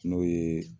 N'o ye